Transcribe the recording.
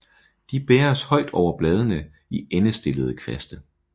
De bæres højt over bladene i endestillede kvaste